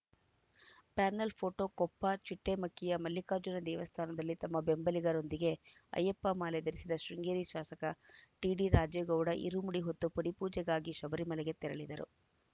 panel photo Koppa ಚಿಟ್ಟೇಮಕ್ಕಿಯ ಮಲ್ಲಿಕಾರ್ಜುನ ದೇವಸ್ಥಾನದಲ್ಲಿ ತಮ್ಮ ಬೆಂಬಲಿಗರೊಂದಿಗೆ ಅಯ್ಯಪ್ಪ ಮಾಲೆ ಧರಿಸಿದ ಶೃಂಗೇರಿ ಶಾಸಕ ಟಿಡಿರಾಜೇಗೌಡ ಇರುಮುಡಿ ಹೊತ್ತು ಪಡಿಪೂಜೆಗಾಗಿ ಶಬರಿಮಲೆಗೆ ತೆರಳಿದರು